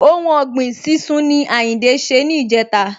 Ohun ọ̀gbìn sísún ni Àyìndé ṣe ni ìjẹta